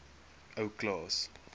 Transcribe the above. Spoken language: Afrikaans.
ou klaas